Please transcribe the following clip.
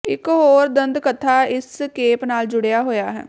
ਇਕ ਹੋਰ ਦੰਤਕਥਾ ਇਸ ਕੇਪ ਨਾਲ ਜੁੜਿਆ ਹੋਇਆ ਹੈ